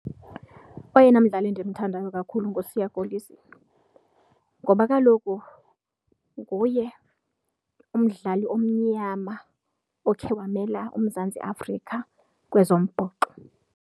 Oyena mdlali endimthandayo kakhulu nguSiya Kolisi ngoba kaloku nguye umdlali omnyama okhe wamela uMzantsi Afrika kwezombhoxo.